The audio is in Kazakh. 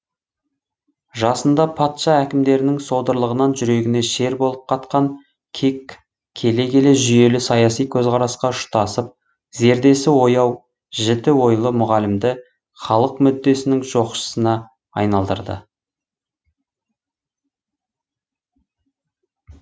жасында патша әкімдерінің содырлығынан жүрегіне шер болып қатқан кек келе келе жүйелі саяси көзқарасқа ұштасып зердесі ояу жіті ойлы мұғалімді халық мүддесінің жоқшысына айналдырды